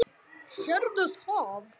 Sérðu það?